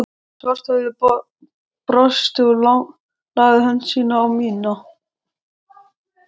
Svarthöfði brosti og lagði hönd sína á mína